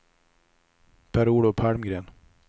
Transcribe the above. Per-Olof Palmgren